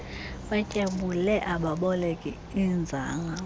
batyabule ababoleki iinzala